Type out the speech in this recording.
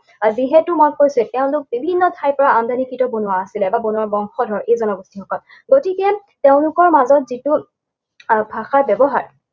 আৰু যিহেতু মই কৈছোঁৱেই, তেওঁলোক বিভিন্ন ঠাইৰ পৰা আমদানিকৃত বনুৱা আছিলে, বা বনুৱাৰ বংশধৰ, এই জনগোষ্ঠীসকল। গতিকে তেওঁলোকৰ মাজত যিটো আহ ভাষা ব্যৱহাৰ